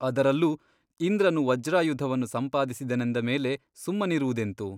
ಅದರಲ್ಲೂ ಇಂದ್ರನು ವಜ್ರಾಯುಧವನ್ನು ಸಂಪಾದಿಸಿದನೆಂದ ಮೇಲೆ ಸುಮ್ಮನಿರುವುದೆಂತು ?